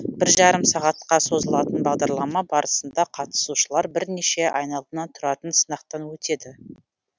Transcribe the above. біржарым сағатқа созылатын бағдарлама барысында қатысушылар бірнеше айналымнан тұратын сынақтан өтеді